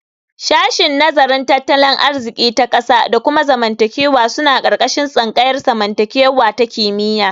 Shashin nazarin tattalin arziki ta ƙasa da kuma zamantakewa suna ƙarƙashin tsangayar zamantakewa ta kimiyya.